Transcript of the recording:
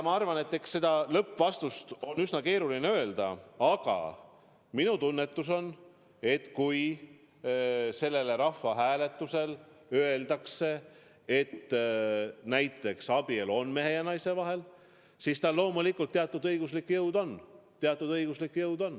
Ma arvan, et seda lõppvastust on üsna keeruline öelda, aga minu tunnetus on, et kui sellel rahvahääletusel öeldakse näiteks, et abielu on mehe ja naise vahel, siis tal loomulikult teatud õiguslik jõud on.